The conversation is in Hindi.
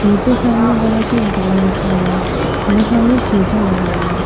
नीचे सामने बड़ा सा बॉल रखा हुआ है। यहाँ सामने शीशा लगा हुआ है।